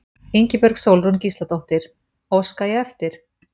Ingibjörg Sólrún Gísladóttir: Óska ég eftir?